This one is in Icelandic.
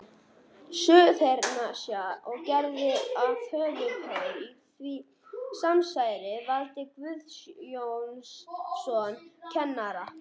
Suðurnesja, og gerðu að höfuðpaur í því samsæri Valtý Guðjónsson kennara.